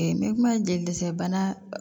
n bɛ kuma jelisɛnɛ bana